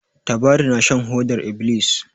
Tabari na shan hodar ibilis.